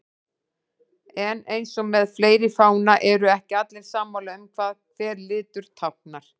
En eins og með fleiri fána eru ekki allir sammála um hvað hver litur táknar.